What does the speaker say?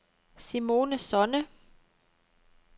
Simone Sonne